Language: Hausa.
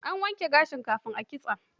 An wanke gashin kafin a kitsa?